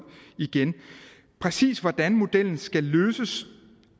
igen præcis hvordan modellen skal løses